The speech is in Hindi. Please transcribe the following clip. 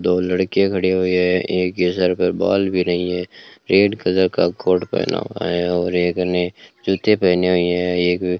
दो लड़कियां खड़ी हुई है एक के सर पर बाल भी नहीं है रेड कलर का कोट पहना हुआ है और एक ने जूते पहने हुए हैं एक --